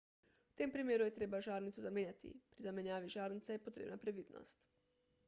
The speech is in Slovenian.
v tem primeru je treba žarnico zamenjati pri zamenjavi žarnice je potrebna previdnost